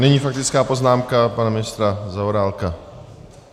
Nyní faktická poznámka pana ministra Zaorálka.